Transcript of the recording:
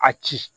A ci